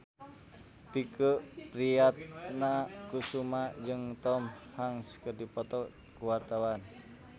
Tike Priatnakusuma jeung Tom Hanks keur dipoto ku wartawan